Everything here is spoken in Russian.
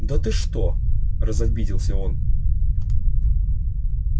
да ты что разобиделся он